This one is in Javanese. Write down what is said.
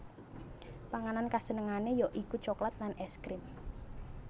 Panganan kasenengané ya iku coklat lan ès krim